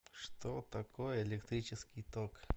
что такое электрический ток